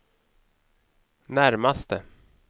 närmaste